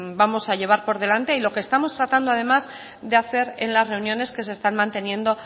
vamos a llevar por delante y lo que estamos tratando además de hacer en las reuniones que se están manteniendo